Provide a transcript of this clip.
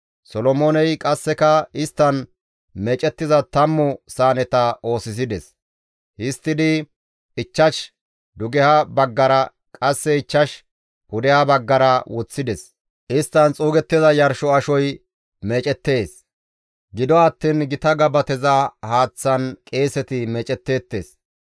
Solomooney qasseka isttan meecettiza 10 Saaneta oosisides; histtidi 5 dugeha baggara, qasse 5 pudeha baggara woththides. Isttan xuugettiza yarsho ashoy meecettees; gido attiin gita gabateza haaththan qeeseti meecceettes.